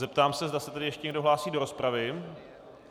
Zeptám se, zda se tedy ještě někdo hlásí do rozpravy.